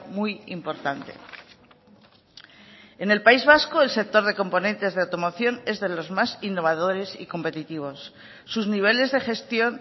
muy importante en el país vasco el sector de componentes de automoción es de los más innovadores y competitivos sus niveles de gestión